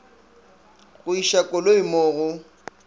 go iša koloi mo go